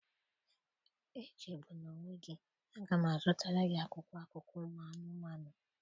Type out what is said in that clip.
Echegbula onwe gị, a ga m azụtara gị akwụkwọ akụkọ ụmụ anụmanụ.